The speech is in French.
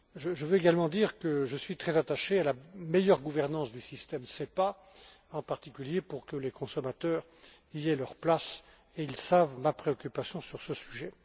Je veux également dire que je suis très attaché à la meilleure gouvernance du système SEPA, en particulier pour que les consommateurs y aient leur place, et ils connaissent ma préoccupation à ce sujet.